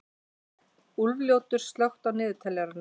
Úlfljótur, slökktu á niðurteljaranum.